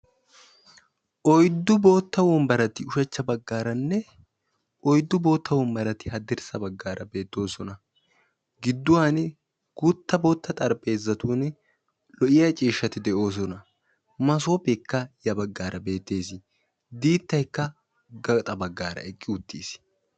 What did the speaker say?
Oyddu boottaa wonbbarati ushshachcha baggaaranne oyddu boottaa wonbbarati haddrssa baggaara beettoosona. Gidduwan guuttaa boottaa xarpheezzatun lo'iya ciishshati de'oosona. Massoppeekka ya baggaara beettees diittaykka gaxxa baggaara eqqi uttiis.